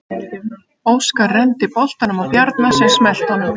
Óskar renndi boltanum á Bjarna sem smellti honum.